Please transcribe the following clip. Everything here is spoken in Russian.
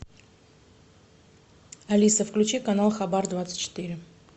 алиса включи канал хабар двадцать четыре